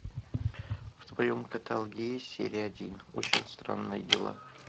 в твоем каталоге есть серия один очень странные дела